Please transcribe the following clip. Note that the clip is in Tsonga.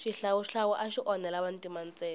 xihlawuhlawu axi onhela vantima ntsena